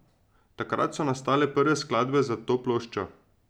Takrat so nastale prve skladbe za to ploščo.